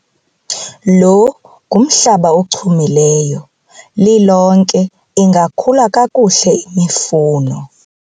lo ngumhlaba ochumileyo, lilonke ingakhula kakuhle imifuno